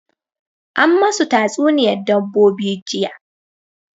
An masu ta tsuniya dabbobi jiya